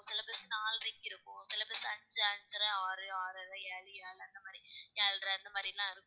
சில bus நாலரைக்கு இருக்கும் சில bus ஐந்து ஐந்து அரை ஆறு ஆறு அரை, ஏழு ஏழு அரை அந்த மாதிரி ஏழரை அந்த மாதிரி எல்லாம் இருக்கும்